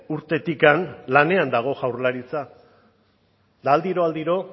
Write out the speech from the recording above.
urtetik lanean dago jaurlaritza eta aldiro aldiro